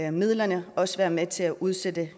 af midlerne også være med til at udsætte